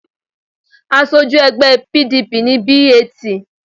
Aṣojú ẹgbẹ́ PDP ni B.A.T.